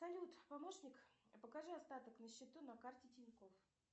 салют помощник покажи остаток на счету на карте тинькофф